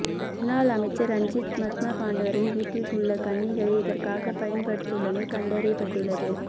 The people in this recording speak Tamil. முன்னாள் அமைச்சர் ரஞ்சித் மத்தும பண்டாரவின் வீட்டில் உள்ள கணணிகளே இதற்காக பயன்படுத்தப்பட்டுள்ளமை கண்டறியப்பட்டுள்ளது